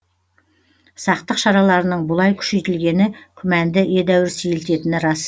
сақтық шараларының бұлай күшейтілгені күмәнді едәуір сейілтетіні рас